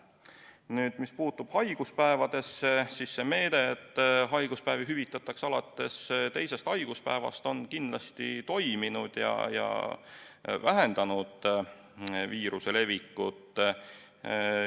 Nüüd, mis puudutab haiguspäevi, siis see meede, et haiguspäevi hüvitatakse alates teisest haiguspäevast, on kindlasti toiminud ja vähendanud viiruse levikut.